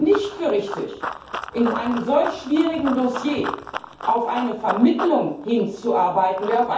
Ich halte es nicht für richtig, bei einem solch schwierigen Dossier auf eine Vermittlung hinzuarbeiten.